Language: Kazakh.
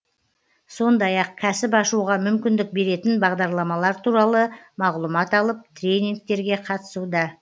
сондай ақ кәсіп ашуға мүмкіндік беретін бағдарламалар туралы мағлұмат алып тренингтерге қатысуда